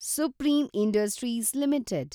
supreme Industries limited